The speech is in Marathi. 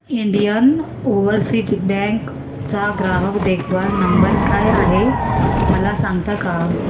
इंडियन ओवरसीज बँक चा ग्राहक देखभाल नंबर काय आहे मला सांगता का